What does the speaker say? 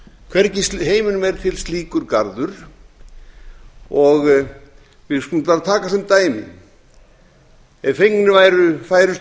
hvergi í heiminum er til slíkur garður við skulum bara taka sem dæmi ef fengnir væru færustu